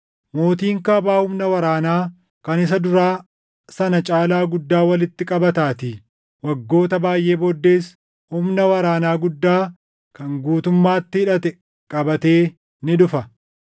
Mootiin kaabaa humna waraanaa kan isa duraa sana caalaa guddaa walitti qabataatii; waggoota baayʼee booddees humna waraanaa guddaa kan guutummaatti hidhate qabatee ni dhufa.